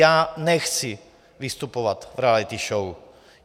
Já nechci vystupovat v reality show.